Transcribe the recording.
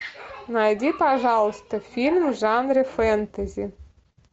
найди пожалуйста фильм в жанре фэнтези